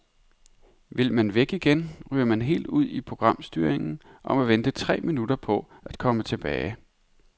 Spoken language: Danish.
Vil man væk igen, ryger man helt ud i programstyringen og må vente tre minutter på at komme tilbage.